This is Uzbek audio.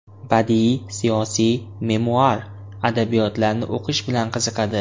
Badiiy, siyosiy, memuar adabiyotlarni o‘qish bilan qiziqadi.